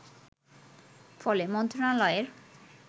ফলে মন্ত্রনালয়ের